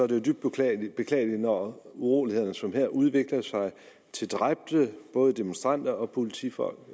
det er dybt beklageligt beklageligt når uroligheder som her udvikler sig til dræbte både demonstranter og politifolk